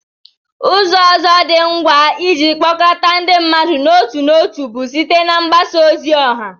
Ụzọ ọzọ dị ngwa iji kpọkọta ndị mmadụ n'otu n'otu bụ site na mgbasa ozi ọha